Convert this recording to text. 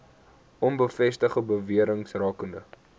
onbevestigde bewerings rakende